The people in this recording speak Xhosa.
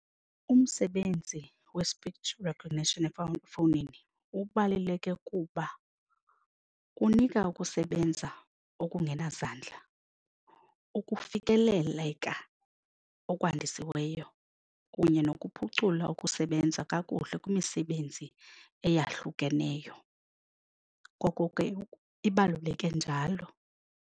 Umsebenzi we-speech recognition efowunini ubaluleke kuba kunika ukusebenza okungena zandla, ukufikeleka okwandisiweyo kunye nokuphucula ukusebenza kakuhle kwimisebenzi eyahlukeneyo. Ngoko ke ibaluleke njalo.